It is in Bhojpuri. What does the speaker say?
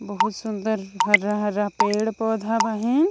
बहुत सुन्दर हरा हरा पेड़ पौधा बहिन।